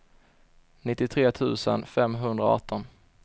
nittiotre tusen femhundraarton